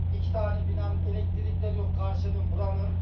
İki dənə binanın elektrikləri yox, qarşıdan, buranın.